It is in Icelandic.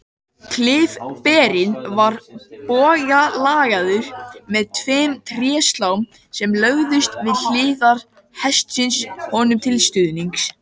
Klyfberinn var bogalagaður með tveimur tréslám sem lögðust við hliðar hestsins honum til stuðnings.